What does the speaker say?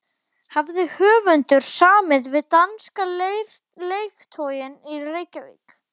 Hafði höfundur samið við danska lektorinn í Reykjavík